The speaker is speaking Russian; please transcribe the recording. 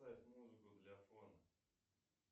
поставь музыку для фона